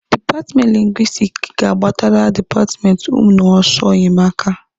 Dipatmenti lingwistiki ga-agbatara dipatmenti ụnụ ọsọ enyemaka.